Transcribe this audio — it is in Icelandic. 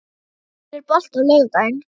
Annar, er bolti á laugardaginn?